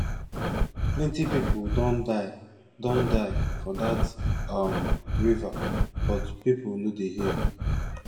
plenty people don die don die for dat um river but people no dey hear